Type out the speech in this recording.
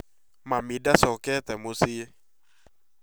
Mami ndashokete mũciĩ